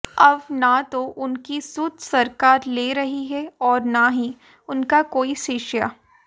अब न तो उनकी सुध सरकार ले रही है और न ही उनका कोई शिष्य